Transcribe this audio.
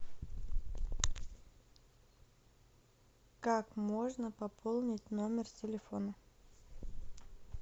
как можно пополнить номер телефона